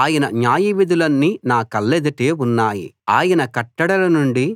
ఆయన న్యాయవిధులన్నీ నా కళ్ళెదుటే ఉన్నాయి ఆయన కట్టడల నుండి